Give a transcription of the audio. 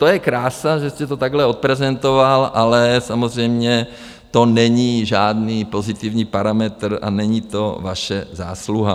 To je krása, že jste to takhle odprezentoval, ale samozřejmě to není žádný pozitivní parametr a není to vaše zásluha.